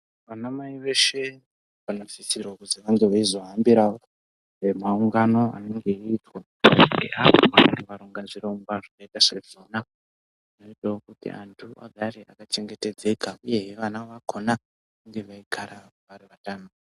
Vanamai veshe vanosise kunge vange veizohambirawo mumaungano anenge eiitwa ngeapo panenge parongwa zvirongwa zvine basa rakona aitewo kuti antu agare akachengetedzeka uye vana vakona vange veigara vari vatano.